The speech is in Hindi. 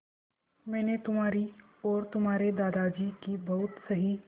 मैंने तुम्हारी और तुम्हारे दादाजी की बहुत सही